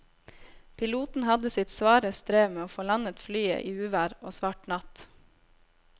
Piloten hadde sitt svare strev med å få landet flyet i uvær og svart natt.